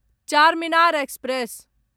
Charminar express